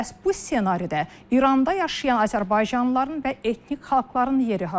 Bəs bu senaridə İranda yaşayan azərbaycanlıların və etnik xalqların yeri hardadır?